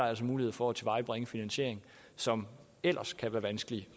altså mulighed for at tilvejebringe en finansiering som ellers kan være vanskelig